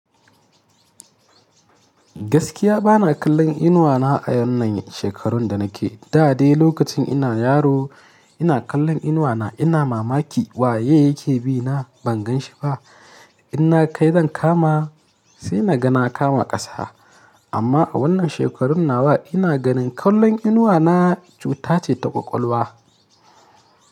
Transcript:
Gaskiya bana kallon inuwa na a wannan shekarun da nake. Da de lokacin ina yaro ina kallon inuwa na ina mama ki waye yake bi na ban gan shi ba. Inna kai zan kama sai na ga na kama ƙasa. Amma a wannan shekarun nawa ina ganin kallon inuwa na cuta ce ta ƙwaƙwalwa.